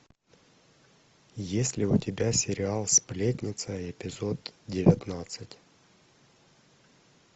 есть ли у тебя сериал сплетница эпизод девятнадцать